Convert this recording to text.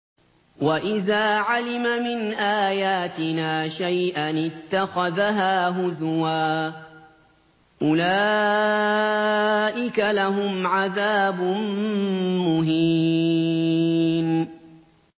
وَإِذَا عَلِمَ مِنْ آيَاتِنَا شَيْئًا اتَّخَذَهَا هُزُوًا ۚ أُولَٰئِكَ لَهُمْ عَذَابٌ مُّهِينٌ